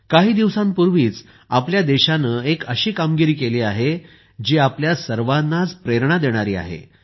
काही दिवसांपूर्वीच आपल्या देशाने एक अशी कामगिरी केली आहे जी आपल्या सर्वांनाच प्रेरणा देणारी आहे